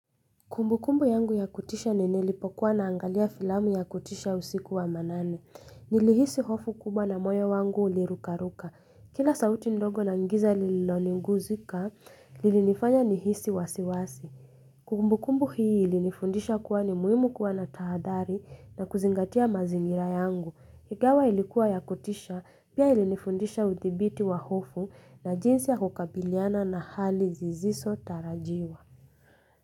Kumbukumbu yangu ya kutisha ni nilipokuwa naangalia filamu ya kutisha usiku wa manane. Nilihisi hofu kubwa na moyo wangu ulirukaruka. Kila sauti ndogo naingiza linaloguzikaa, lilinifanya nihisi wasiwasi. Kumbukumbu hii ilinifundisha kuwa ni muhimu kuwa na tahathari na kuzingatia mazingira yangu. Ingawa ilikuwa ya kutisha, pia ilinifundisha uthibiti wa hofu na jinsi ya kukabiliana na hali zisizotarajiwa.